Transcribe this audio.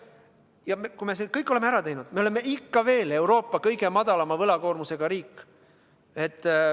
Ja kui me selle kõik oleme ära teinud, siis oleme ikka veel Euroopa kõige väiksema võlakoormusega riik.